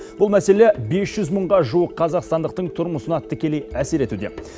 бұл мәселе бес жүз мыңға жуық қазақстандықтың тұрмысына тікелей әсер етуде